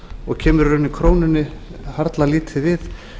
og kemur í rauninni krónunni harla lítið við